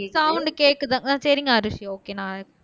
sound கேக்குதாங்க சரிங்க அரூசி ஒகே நான் இப்போ